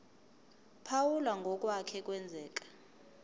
phawula ngokwake kwenzeka